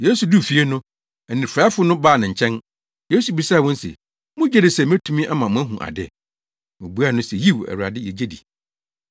Yesu duu fie no, anifuraefo no baa ne nkyɛn. Yesu bisaa wɔn se, “Mugye di sɛ metumi ama moahu ade?” Wobuaa no se, “Yiw, Awurade, yegye di!”